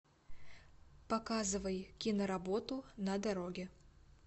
показывай киноработу на дороге